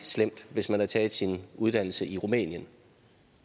slemt hvis man har taget sin uddannelse i rumænien